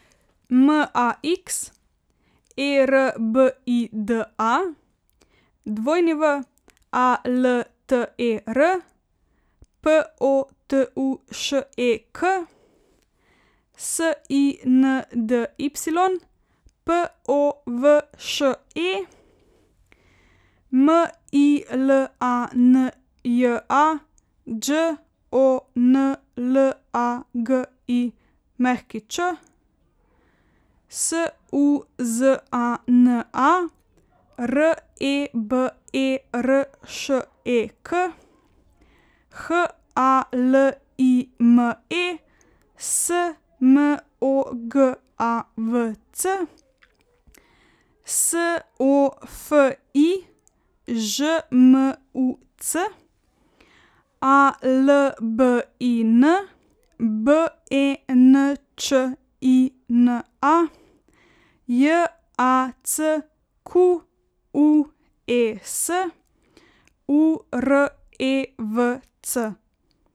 M A X, E R B I D A; W A L T E R, P O T U Š E K; S I N D Y, P O V Š E; M I L A N J A, Đ O N L A G I Ć; S U Z A N A, R E B E R Š E K; H A L I M E, S M O G A V C; S O F I, Ž M U C; A L B I N, B E N Č I N A; J A C Q U E S, U R E V C.